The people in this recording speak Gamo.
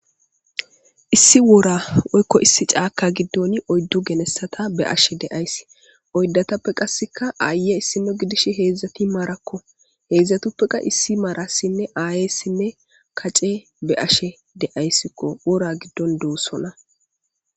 issi wora woykko issi caaka giddon oyddu gelessata be ashe deayssi oydatappe qasseka aaye issino gidish heedzdzati maarakko heedzdzatappeka issi maarassinne aayessinne kace be ashe deayssikko wora giddon duussona